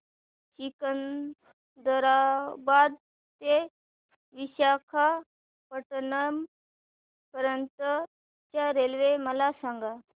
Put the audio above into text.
सिकंदराबाद ते विशाखापट्टणम पर्यंत च्या रेल्वे मला सांगा